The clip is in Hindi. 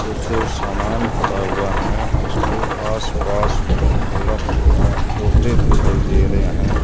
कुछ सामान पड़ा हुआ है उसके आसपास में थोड़ा थोड़ा पौधे दिखाई दे रहे हैं।